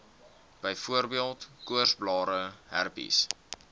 byvoorbeeld koorsblare herpes